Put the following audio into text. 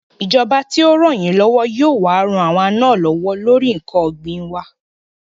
Ìjọba tí ó rànyínlọ́wọ́ yóò wá ran àwa náà lọ́wọ́ lórí ǹkan ògbìn wa